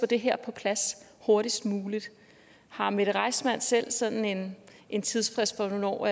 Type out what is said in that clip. det her på plads hurtigst muligt har mette reissmann selv sådan en tidsfrist for hvornår